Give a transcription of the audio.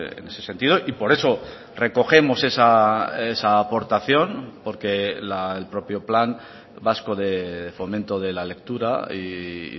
en ese sentido y por eso recogemos esa aportación porque el propio plan vasco de fomento de la lectura y